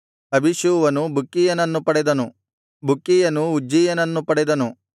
ಅಬೀಷೂವನು ಬುಕ್ಕೀಯನನ್ನು ಪಡೆದನು ಬುಕ್ಕೀಯನು ಉಜ್ಜೀಯನನ್ನು ಪಡೆದನು